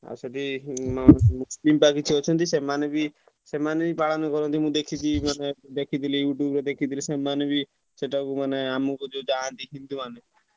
ଆଉ ସେଠୀ କିଛି ମାନେ ଅଛନ୍ତି ସେମାନେ ବି ସେମାନେ ବି ପାଳନ କରନ୍ତି ମୁଁ ଦେଖିଛି ମାନେ ଦେଖିଥିଲି YouTube ରେ ଦେଖିଥିଲି ସେମାନେ ବି ସେଠାକୁ ମାନେ ଆମକୁ ଯୋଉ ଯାଆନ୍ତି ହିନ୍ଦୁ ମାନେ।